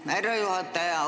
Aitäh, härra juhataja!